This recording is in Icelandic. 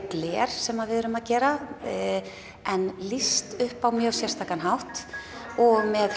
gler sem við erum að gera en lýst upp á mjög sérstakan hátt og með